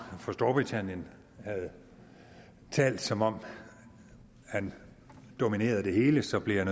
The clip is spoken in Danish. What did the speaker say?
fra storbritannien havde talt som om han dominerede det hele så blev jeg